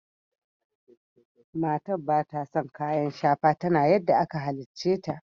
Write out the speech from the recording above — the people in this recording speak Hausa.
Matan bata son kayan shafa. Tana yadda aka hallice ta.